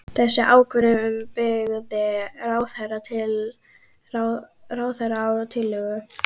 Þessa ákvörðun byggði ráðherra á tillögu